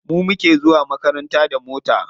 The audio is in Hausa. Mu muke zuwa makaranta da mota.